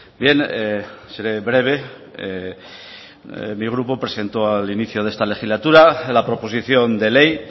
bien seré breve mi grupo presentó al inicio de esta legislatura la proposición de ley